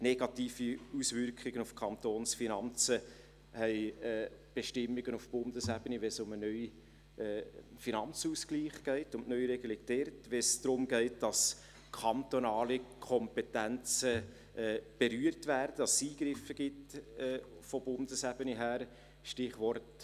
Negative Auswirkungen auf die Kantonsfinanzen haben beispielsweise Bestimmungen auf Bundesebene, wenn es um eine Neuregelung des Finanzausgleichs geht oder darum, dass kantonale Kompetenzen berührt werden und dass es von der Bundesebene her Eingriffe gibt;